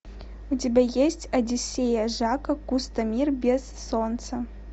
у тебя есть одиссея жака кусто мир без солнца